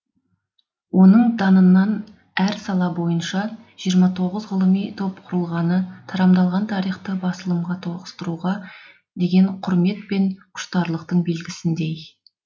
оның данынан әр сала бойынша жиырма тоғыз ғылыми топ құрылғаны тарамдалған тарихты басылымға тоғыстыруға деген құрмет пен құштарлықтың белгісіндей